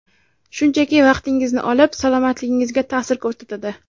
Shunchaki vaqtingizni olib, salomatligingizga ta’sir ko‘rsatadi.